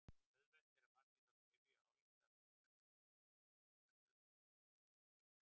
Auðvelt er að falla í þá gryfju að álykta að mismunur feli í sér ójöfnuð.